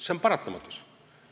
See on paratamatus.